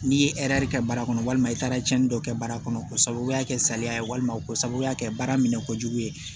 N'i ye kɛ baara kɔnɔ walima i taara cɛnni dɔ kɛ baara kɔnɔ k'o sababuya kɛ saliya ye walima o sababuya kɛ baara minɛ ko jugu ye